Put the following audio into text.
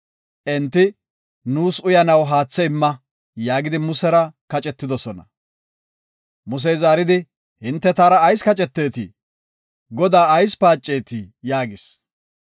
Enti, “Nuus uyanaw haathe imma” yaagidi Musera kacetidosona. Musey zaaridi, “Hinte taara ayis kacceteetii? Godaa ayis paacetii?” yaagis.